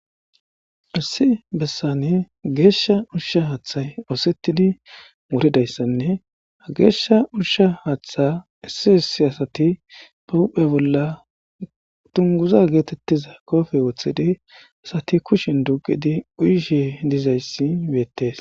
Issi bessani geeshsha ushsha haaththay oosettidi muridayssanne ha geeshsha ushsha haaththa issi issi asati pahuphe bolla tunguza geetettiza koofe wooththidi asati kushin duqidi uyishe dizayssi beettes.